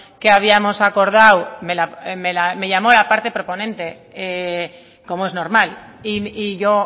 que habíamos acordado me llamó la parte proponente como es normal y yo